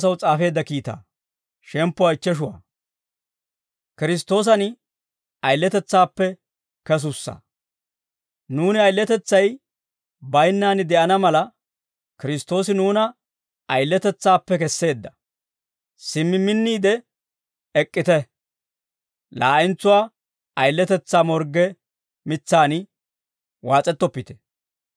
Nuuni ayiletetsay baynnaan, de'ana mala, Kiristtoosi nuuna ayiletetsaappe kesseedda; simmi minniide ek'k'ite; laa'entsuwaa ayiletetsaa morgge mitsaan waas'ettoppite.